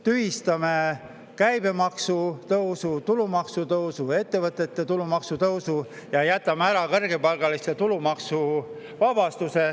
Tühistame käibemaksu tõusu, tulumaksu tõusu, ettevõtete tulumaksu ja jätame ära kõrgepalgaliste tulumaksuvabastuse.